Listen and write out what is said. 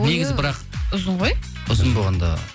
негізі бірақ ұзын ғой ұзын болғанда